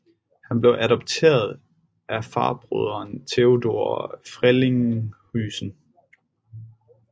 Han blev adopteret af farbroderen Theodore Frelinghuysen